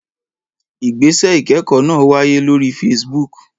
Ìgbésẹ̀ ìkẹ́kọ̀ọ́ náà wáyé lórí Facebook.